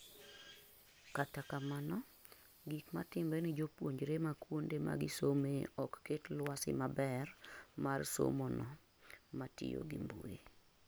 kata kamano, gik matimre ni jopuonjre ma kuonde magisomee ok ket lwasi maber mar somono matiyo ngi mbui